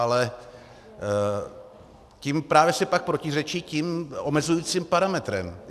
Ale tím si právě pak protiřečí tím omezujícím parametrem.